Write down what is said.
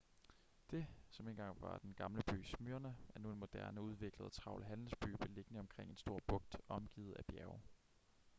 det som engang var den gamle by smyrna er nu en moderne udviklet og travl handelsby beliggende omkring en stor bugt og omgivet af bjerge